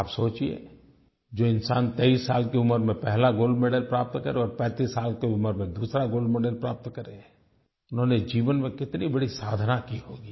आप सोचिए जो इंसान 23 साल की उम्र में पहला गोल्ड मेडल प्राप्त करे और 35 साल की उम्र में दूसरा गोल्ड मेडल प्राप्त करे उन्होंने जीवन में कितनी बड़ी साधना की होगी